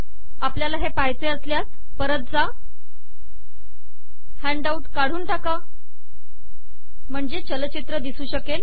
आपल्याला हे पहायचे असल्यास परत जा हॅन्डआऊट काढून टाका म्हणजे चलचित्र दिसू शकेल